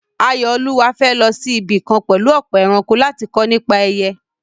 Ayọ̀olúwa fẹ́ lọ sí ibì kan pẹ̀lú ọ̀pọ̀ ẹranko láti kọ́ nípa ẹyẹ.